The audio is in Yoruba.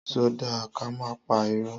Sọ dà kàmá pà írọ?